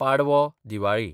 Padwa (Diwali)